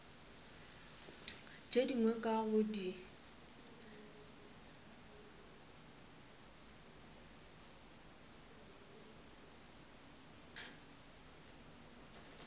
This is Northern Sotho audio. tše dingwe ka go di